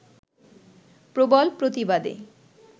প্রবল প্রতিবাদে